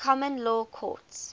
common law courts